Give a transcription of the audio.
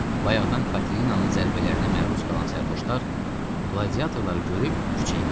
Bayaqdan Katinanın zərbələrinə məruz qalan sərxoşlar qladiatorları görüb küçəyə qaçdılar.